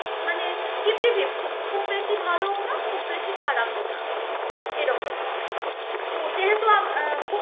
মানে fifty fifty খুব বেশি ভালও না, খুব বেশি খারাপও না. এরকম তো যেহেতু আম~ আহ